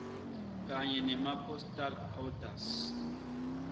kanye nemapostal orders